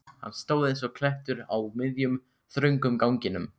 Hann stóð eins og klettur á miðjum, þröngum ganginum.